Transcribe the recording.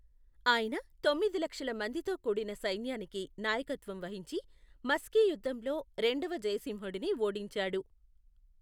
ఆయన తొమ్మిది లక్షల మందితో కూడిన సైన్యానికి నాయకత్వం వహించి మస్కి యుద్ధంలో రెండవ జయసింహుడిని ఓడించాడు.